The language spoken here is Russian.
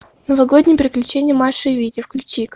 новогодние приключения маши и вити включи ка